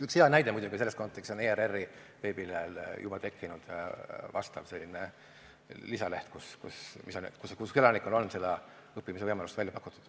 Üks hea näide selles kontekstis on ERR-i veebilehele juba tekkinud lisaleht, kus elanikele on seda õppimisvõimalust pakutud.